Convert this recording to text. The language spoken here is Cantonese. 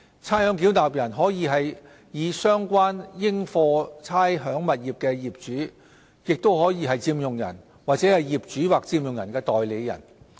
差餉繳納人可以是相關應課差餉物業的業主、佔用人或業主或佔用人的代理人。